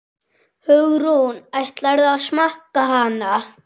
Hugrún: Ætlarðu að smakka hana?